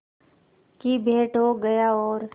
की भेंट हो गया और